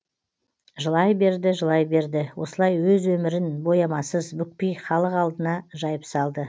жылай берді жылай берді осылай өз өмірін боямасыз бүкпей халық алдына жайып салды